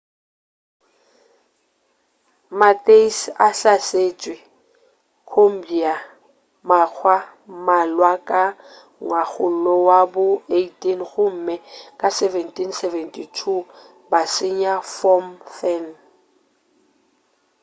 ma-thais a hlasetše cambodia makga a mmalwa ka ngwakgolo wa bo 18 gomme ka 1772 ba senya phnom phen